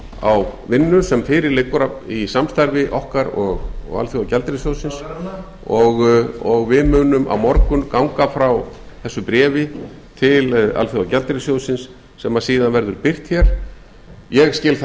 á vinnu sem fyrir liggur í samstarfi okkar og alþjóðagjaldeyrissjóðsins og við munum á morgun ganga frá þessu bréfi til alþjóðagjaldeyrissjóðsins sem síðan verður birt ég skil það